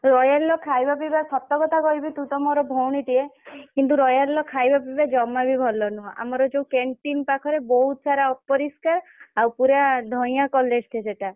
royal ର ଖାଇବା ପିଇବା ସତ କଥା କହିବି ତୁ ତ ମୋର ଭଉଣୀ ଟିଏ କିନ୍ତୁ royal ର ଖାଇବା ପିଇବା ଜମା ବି ଭଲ ନୁହ। ଆମର ଯୋଉ canteen ପାଖରେ ବହୁତ୍ ସାରା ଅପରିଷ୍କାର୍ ଆଉ ପୁରା ଧଇଁଆ college ଟେ ସେଇଟା।